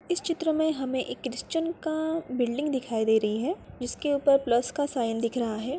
इस चित्र में हमें एक क्रिश्चियन का बिल्डिंग दिखाई दे रही है जिसके ऊपर प्लस का साइन दिख रहा है।